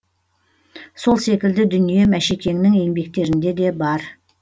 сол секілді дүние мәшекеңнің еңбектерінде де бар